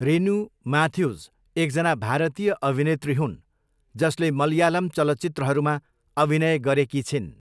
रेनु म्याथ्युज एकजना भारतीय अभिनेत्री हुन् जसले मलयालम चलचित्रहरूमा अभिनय गरेकी छिन्।